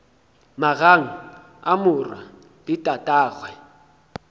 magang a morwa le tatagwe